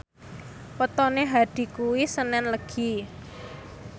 wetone Hadi kuwi senen Legi